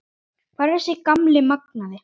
Hvar er þessi gamli magnaði?